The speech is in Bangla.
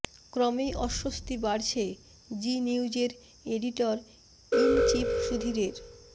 ক্রমেই অস্বস্তি বাড়ছে জি নিউজের এডিটর ইন চিফ সুধীরের